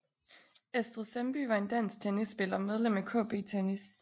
Astrid Sandby var en dansk tennisspiller medlem af KB Tennis